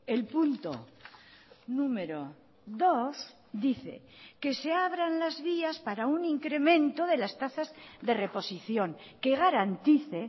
el punto número dos dice que se abran las vías para un incremento de las tasas de reposición que garantice